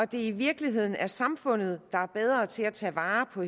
det i virkeligheden er samfundet der er bedre til at tage vare på